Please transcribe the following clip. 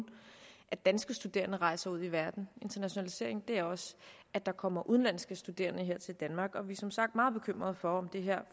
at danske studerende rejser ud i verden internationalisering er også at der kommer udenlandske studerende her til danmark og vi er som sagt meget bekymret for om det her